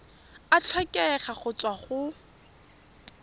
a tlhokega go tswa go